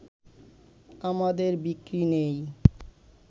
আমাদের বিক্রি নেই